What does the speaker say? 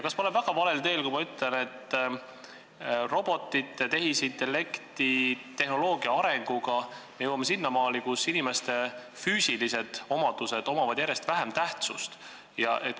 Kas ma olen väga valel teel, kui ma ütlen, et robotite, tehisintellekti ja tehnoloogia arenguga me jõuame selleni, et inimese füüsilistel omadustel on järjest vähem tähtsust?